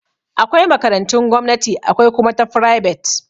Akwai makarantun gomnati akwai kuma ta fribet.